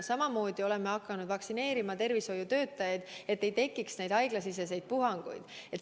Samamoodi oleme hakanud vaktsineerima tervishoiutöötajaid, et ei tekiks haiglasiseseid puhanguid.